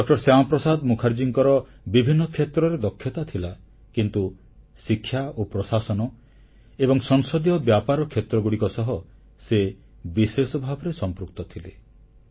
ଡ ଶ୍ୟାମାପ୍ରସାଦ ମୁଖାର୍ଜୀଙ୍କର ବିଭିନ୍ନ କ୍ଷେତ୍ରରେ ଦକ୍ଷତା ଥିଲା କିନ୍ତୁ ଶିକ୍ଷା ପ୍ରଶାସନ ଏବଂ ସଂସଦୀୟ ବ୍ୟାପାର କ୍ଷେତ୍ରଗୁଡ଼ିକ ସହ ସେ ବିଶେଷ ଭାବରେ ସମ୍ପୃକ୍ତ ଥିଲେ